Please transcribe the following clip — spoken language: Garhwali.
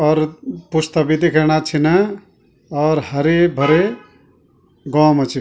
और पुश्ता बि दिखेणा छिना और हरे-भरे गौ मा च।